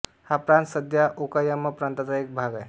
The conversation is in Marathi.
हा प्रांत सध्या ओकायामा प्रांताचा एक भाग आहे